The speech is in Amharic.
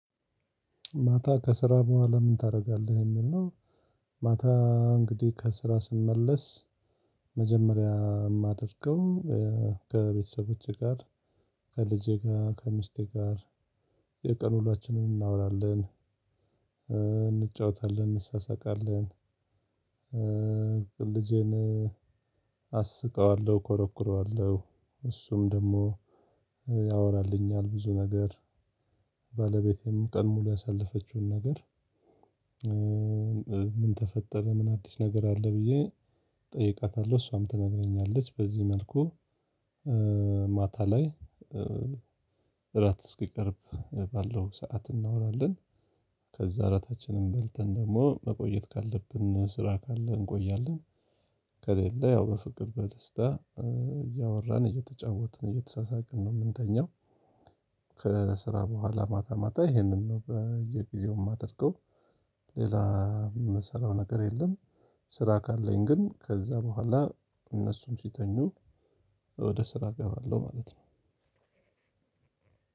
ማታ ከስራ ቡሃላ ምን ታረጋለህ እሚል ነው? ማታ እንግዲህ ከስራ ስመለስ። መጀመሪያ እማደርገው ከቤተሰቦቼ ጋር ከልጄ ጋ ከሚስቴ ጋር የቀን ሁላችንን እናውራለን እንጫወታለን እንሳሳቃለን። ልጄን አስቀዋለሁ ኮረኩረዋለሁ እሱም ደሞ ያወራልኛል ብዙ ነገር። ባለቤቴም ቀን ሙሉ ያሳለፈችውን ነገር ምን ተፈጠረ ምን አዲስ ነገር አለ ብዬ እጠይቃታለሁ እሷም ትነግረኛለች በዚህ መልኩ። ማታ ላይ እራት እስኪቀርብ ባለው ሰዓት እናወራለን። ከዛ እራታችንን በልተን ደግሞ መቆየት ካለብን ስራ ካለ እንቆያለን። ከሌለ ያው በፍቅር በደስታ እያወራን እየተጫወትን እየተሳሳቅን ነው እምንተኛው። ከስራ ቡሃላ ማታ ማታ ይሄንን ነው በየጊዜው እማደርገው። ሌላ እምሰራው ነገር የለም። ስራ ካለኝ ግን ከዛ ቡሃላ እነሱም ሲተኙ ወደ ስራ እገባለሁ ማለት ነው።